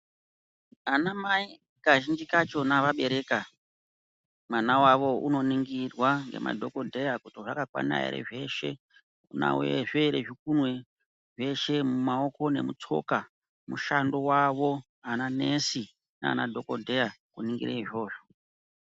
Ana mai kazhinji kacho vabereka mwana wavo unoningirwa ngemadhokodheya kuti wakakwana here zveshe unazvo here zvikunwe zveshe mumaoko ngemutsoka mushando wavo ana nesi nana dhokodheya kunongira izvozvo .